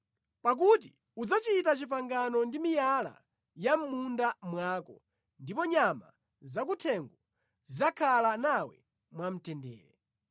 Pakuti udzachita pangano ndi miyala ya mʼmunda mwako, ndipo nyama zakuthengo zidzakhala nawe mwamtendere.